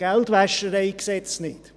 (Geldwäschereigesetz, GwG) nicht.